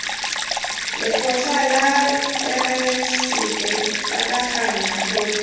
lekgotla la therasete pataganya khopi